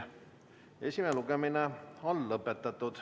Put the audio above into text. Esimene lugemine on lõpetatud.